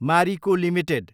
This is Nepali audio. मारिको एलटिडी